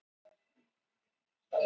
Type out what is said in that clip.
Erkiengill, ekki nema það þó.